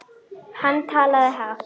Hann talaði hátt.